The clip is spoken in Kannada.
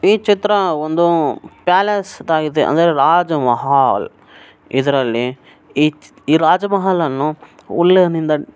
ಈ ಚಿತ್ರ ಒಂದು ಪ್ಯಾಲೇಸ್ ದಾಗಿದೆ ಅಂದ್ರೆ ರಾಜ ಮಹಾಲ್ ಇದ್ರಲ್ಲಿ ಈ ರಾಜ ಮಹಾಲ್ ಅನ್ನು ಉಲ್ಲನ್ ನಿಂದ --